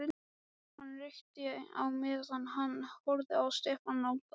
Hann reykti á meðan hann horfði á Stefán nálgast.